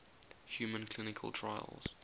human clinical trials